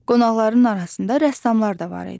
Qonaqların arasında rəssamlar da var idi.